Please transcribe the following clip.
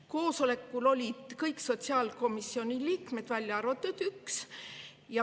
Koosolekul olid kõik sotsiaalkomisjoni liikmed, välja arvatud üks.